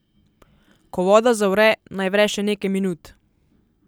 Ko voda zavre naj vre še nekaj minut.